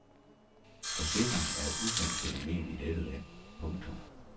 Forsikring er et ukendt fænomen i dette land. punktum